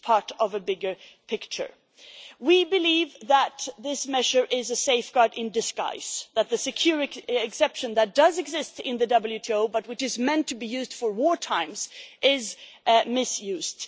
It is part of a bigger picture. We believe that this measure is a safeguard in disguise and that the exception that does exist in the WTO, but which is meant to be used for wartime, is misused.